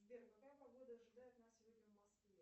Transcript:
сбер какая погода ожидает нас сегодня в москве